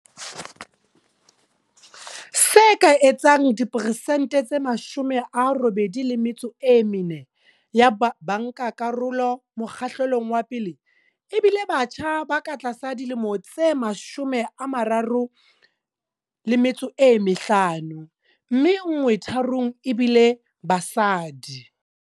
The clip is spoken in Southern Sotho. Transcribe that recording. Se ka etsang diperesente tse 84 ya bankakarolo mokgahlelong wa pele e bile batjha ba ka tlasa dilemo tse 35, mme nngwe tharong ebile basadi.